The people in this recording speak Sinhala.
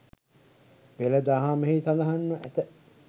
පෙළ දහමෙහි සඳහන්ව ඇත.